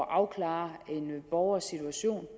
afklare en borgers situation